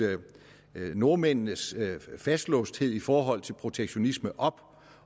nordmændenes fastlåsthed i forhold til protektionisme op